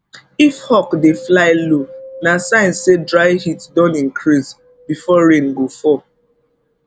if hawk dey fly low na sign say dry heat don increase before rain go fall